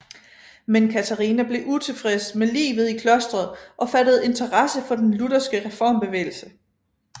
Men Katharina blev utilfreds med livet i klostret og fattede interesse for den lutherske reformbevægelse